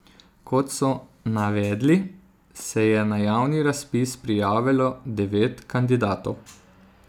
Kot so navedli, se je na javni razpis prijavilo devet kandidatov.